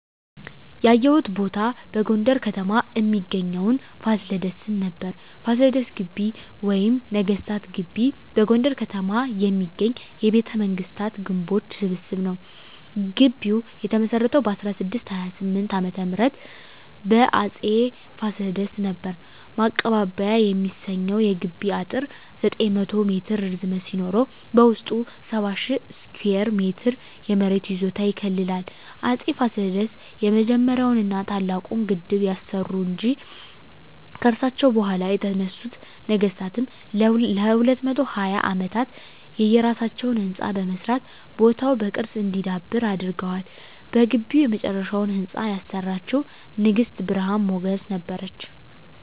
ያየሁት ቦታ በጎንደር ከተማ እሚገኘዉን ፋሲለደስን ነበር። ፋሲለደስ ግቢ ወይም ነገስታት ግቢ በጎንደር ከተማ የሚገኝ የቤተመንግስታት ግምቦች ስብስብ ነዉ። ግቢዉ የተመሰረተዉ በ1628 ዓ.ም በአፄ ፋሲለደስ ነበር። ማቀባበያ የሚሰኘዉ የግቢዉ አጥር 900 ሜትር ርዝመት ሲኖረዉ በዉስጡ 70,000 ስኩየር ሜትር የመሬት ይዞታ ይከልላል። አፄ ፋሲለደስ የመጀመሪያዉን ና ታላቁን ግድብ ያሰሩ እንጂ፣ ከርሳቸዉ በኋላ የተነሱት ነገስታትም ለ220 አመታት የየራሳቸዉን ህንፃ በመስራት ቦታዉ በቅርስ እንዲዳብር አድርገዋል። በግቢዉ የመጨረሻዉን ህንፃ ያሰራችዉ ንግስት ብርሀን ሞገስ ነበረች።